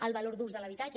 al valor d’ús de l’habitatge